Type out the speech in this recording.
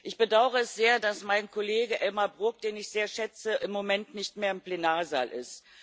Ich bedaure es sehr, dass mein Kollege Elmar Brok, den ich sehr schätze, im Moment nicht mehr im Plenarsaal ist.